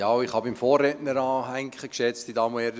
Ich kann beim Vorredner anhängen, geschätzte Damen und Herren: